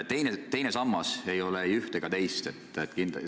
Teine sammas ei ole ei üht ega teist.